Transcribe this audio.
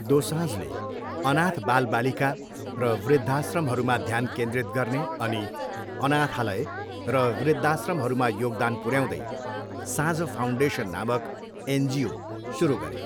दोसाँझले अनाथ बालबालिका र वृद्धाश्रमहरूमा ध्यान केन्द्रित गर्ने अनि अनाथालय र वृद्धाश्रमहरूमा योगदान पुर्याउँदै साँझ फाउन्डेसन नामक एनजिओ सुरु गरे।